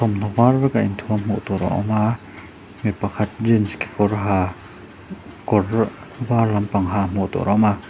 thawmhnaw var veka inthuam a awm a mi pakhat jeans kekawr ha kawr var lampang ha hmuh tur a awm a.